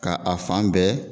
Ka a fan bɛɛ